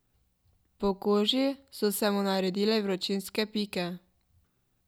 Po koži so se mu naredile vročinske pike.